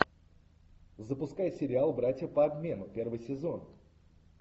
запускай сериал братья по обмену первый сезон